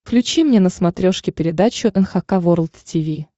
включи мне на смотрешке передачу эн эйч кей волд ти ви